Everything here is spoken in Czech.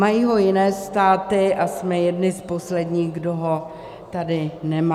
Mají ho jiné státy a jsme jedni z posledních, kdo ho tady nemá.